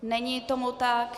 Není tomu tak.